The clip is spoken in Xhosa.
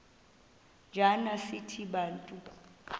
njana sithi bantu